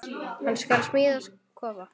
Hann skal smíða kofa.